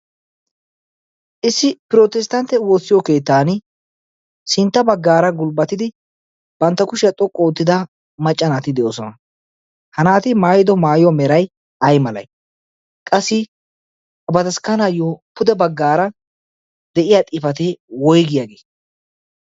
issi pirotesttantte woossiyo keettan sintta baggaara gulbbatidi bantta kushyaa xoqqu oottida maccanaati de'oosona ha naati maayido maayuwaa merai ay malay qassi badaskkanaayyo pude baggaara de'iya xiifatee woygiyaagei